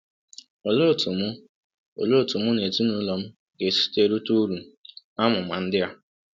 Olee otú mụ Olee otú mụ na ezinụlọ m ga-esi rite uru n’amụma ndị a?